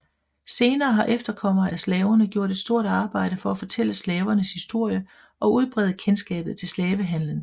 Senere har efterkommere af slaverne gjort et stort arbejde for at fortælle slavernes historie og udbrede kendskabet til slavehandlen